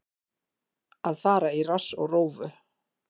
Að fara í rass og rófu